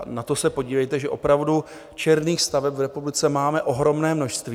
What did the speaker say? A na to se podívejte, že opravdu černých staveb v republice máme ohromné množství.